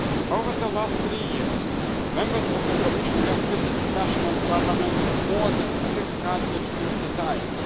Over the last three years, Members of the Commission have visited national parliaments more than 650 times.